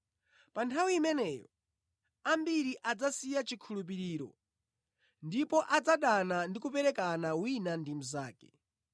Pa nthawi imeneyo ambiri adzasiya chikhulupiriro ndipo adzadana ndi kuperekana wina ndi mnzake,